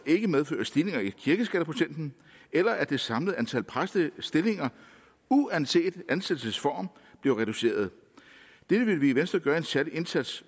ikke medfører stigninger i kirkeskatteprocenten eller at det samlede antal præstestillinger uanset ansættelsesform bliver reduceret dette vil vi i venstre gøre en særlig indsats